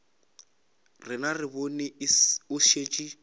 rena re bone o šetše